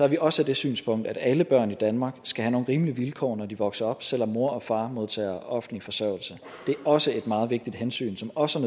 vi også det synspunkt at alle børn i danmark skal have nogle rimelige vilkår når de vokser op selv om mor og far modtager offentlig forsørgelse det er også et meget vigtigt hensyn som også